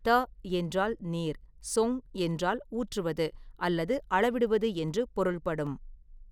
த என்றால் நீர், சொங் என்றால் ஊற்றுவது அல்லது அளவிடுவது என்று பொருள்படும்.